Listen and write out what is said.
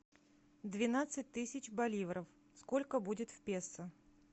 двенадцать тысяч боливров сколько будет в песо